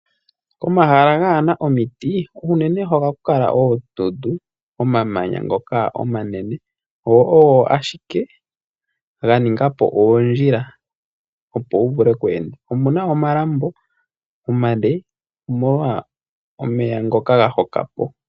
Omahala gaa na omiti, unene ohaku kala oondundu, omamanya ngoka omanene go ogo ashike ga ninga po oondjila, opo wu vule oku enda. Omu na omalambo omale omolwa omeya ngoka ga hoka po.